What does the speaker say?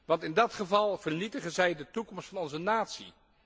Want in dat geval vernietigen zij de toekomst van onze natie.